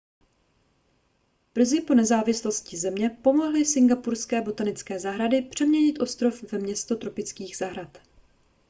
brzy po nezávislosti země pomohly singapurské botanické zahrady přeměnit ostrov ve město tropických zahrad